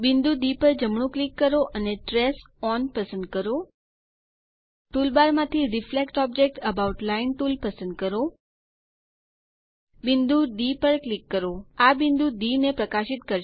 બિંદુ ડી પર જમણું ક્લિક કરો અને ટ્રેસ ઓન પસંદ કરો ટુલબાર માંથી reflect object about line tool પસંદ કરો બિંદુ ડી પર ક્લિક કરો આ બિંદુ ડી ને પ્રકાશિત કરશે